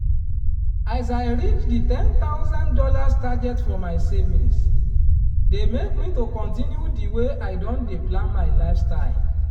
as i reach di ten thousand dollars target for my savings dey make me to continue di way i don dey plan my lifestyle